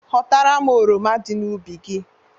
Ghọtara m oroma dị n'ubi gi